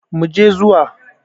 Mu je zuwa!